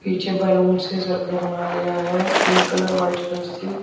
पीछे बैलून से सर्कल बनाया गया है पिंक कलर वाइट कलर से।